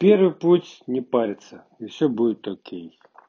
первый путь не парится и все будет окей